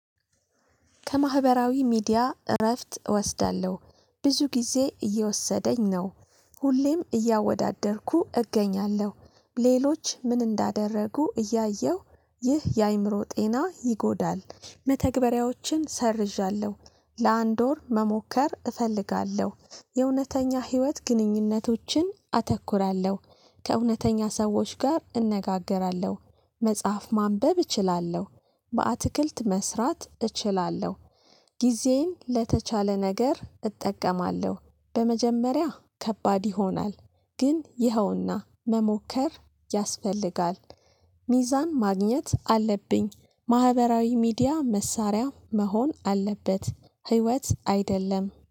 ከማህበራዊ ሚዲያ እረፍት እወስዳለሁ ብዙ ጊዜ እየወሰደኝ ነው ሁሌም እያወዳደርኩ እገኛለሁ። ሌሎች ምን እንዳደረጉ እያየሁ ይህ የአእምሮ ጤና ይጎዳል መተግበሪያዎችን ሰርዣለሁ ለአንድ ወር መሞከር እፈልጋለሁ የእውነተኛ ህይወት ግንኙነቶችን አተኩራለሁ። ከእውነተኛ ሰዎች ጋር እነጋገራለሁ መጽሐፍ ማንበብ እችላለሁ። በአትክልት መስራት እችላለሁ። ጊዜን ለተቻለ ነገር እጠቀማለሁ በመጀመሪያ ከባድ ይሆናል ግን ይኸውና መሞከር ያስፈልጋል። ሚዛን ማግኘት አለብኝ ማህበራዊ ሚዲያ መሳሪያ መሆን አለበት ህይወት አይደለም።